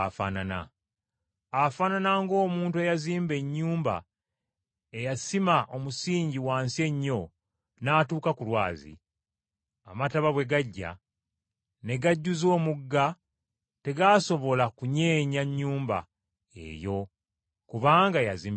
Afaanana ng’omuntu eyazimba ennyumba, eyasima omusingi wansi ennyo n’atuuka ku lwazi. Amataba bwe gajja, ne gajjuza omugga tegaasobola kunyeenya nnyumba eyo kubanga yazimbibwa bulungi.